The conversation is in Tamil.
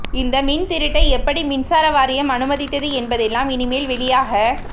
இந்த மின்திருட்டை எப்படி மின்சார வாரியம் அனுமதித்தது என்பதெல்லாம் இனிமேல் வெளியாக